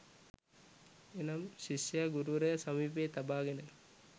එනම්, ශිෂ්‍යයා ගුරුවරයා සමීපයේ තබාගෙන